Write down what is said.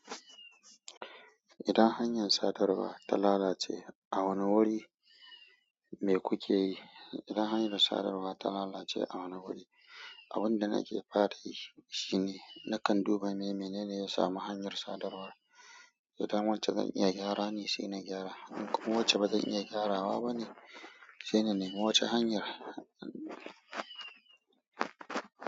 Idan hanyar sadarwa ta lalace a wani wuri me kuke yi? Idan hanyar sadarwa ta lalace a wani wuri, abun da nake faɗa shi shine nakan duba ne menene ya samu hanyar sadarwar. Idan wacce zan iya gyara ne, sai na gyara. In kuma wacce bazan iya gyarawa ba ne, sai na nemi wacehanyar.